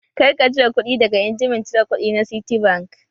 Kar ka cire kuɗi daga injimin cire kuɗi na Citibank!